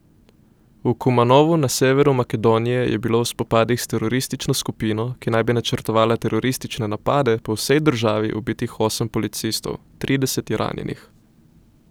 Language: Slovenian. V Kumanovu na severu Makedonije je bilo v spopadih s teroristično skupino, ki naj bi načrtovala teroristične napade po vsej državi ubitih osem policistov, trideset je ranjenih.